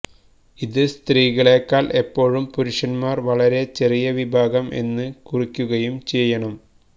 ഇത് സ്ത്രീകളേക്കാൾ എപ്പോഴും പുരുഷന്മാരും വളരെ ചെറിയ വിഭാഗം എന്ന് കുറിക്കുകയും ചെയ്യണം